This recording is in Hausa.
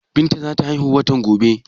Binta za ta haihu watan gobe.